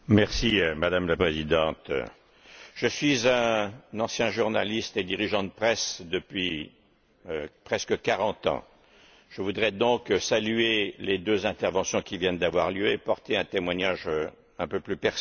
Madame la Présidente, je suis un ancien journaliste et dirigeant de presse depuis presque quarante ans et voudrais saluer les deux interventions qui viennent d'avoir lieu et porter un témoignage un peu plus personnel.